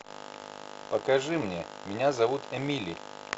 покажи мне меня зовут эмили